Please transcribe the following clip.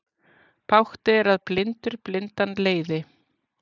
Bágt er að blindur blindan leiði.